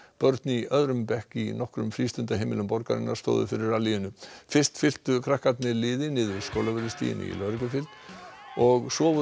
börn í öðrum bekk í nokkrum frístundaheimilum borgarinnar stóðu fyrir fyrst fylktu krakkarnir liði niður Skólavörðustíginn í lögreglufylgd og svo voru